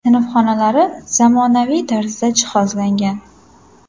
Sinf xonalari zamonaviy tarzda jihozlangan.